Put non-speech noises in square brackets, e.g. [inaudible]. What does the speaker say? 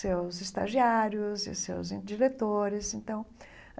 seus estagiários e seus [unintelligible] diretores então.